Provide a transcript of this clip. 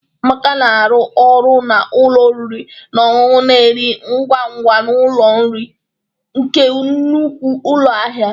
Amaka na-arụ ọrụ na ụlọ oriri na ọṅụṅụ na-eri ngwa ngwa n'ụlọ nri nke nnukwu ụlọ ahịa